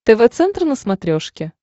тв центр на смотрешке